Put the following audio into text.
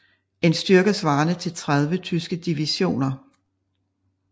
En styrke svarende til 30 tyske divisioner